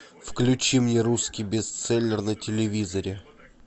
включи мне русский бестселлер на телевизоре